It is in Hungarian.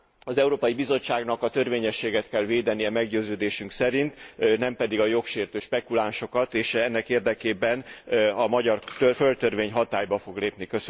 Az Európai Bizottságnak a törvényességet kell védenie meggyőződésünk szerint, nem pedig a jogsértő spekulánsokat, és ennek érdekében a magyar földtörvény hatályba fog lépni.